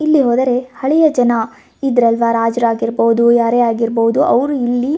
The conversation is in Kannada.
ಇಲ್ಲಿ ಹೋದರೆ ಹಳೆಯ ಜನ ಇದ್ರಲ್ವ್ ರಾಜ್ರಾಗಿರಬಹುದು ಯಾರೇ ಆಗಿರಬಹುದು ಅವ್ರು ಇಲ್ಲಿ --